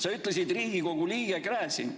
Sa ütlesid: "Riigikogu liige Gräzin.